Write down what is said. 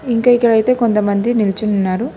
ఇంకా ఇక్కడైతే కొంతమంది నిల్చొని ఉన్నారు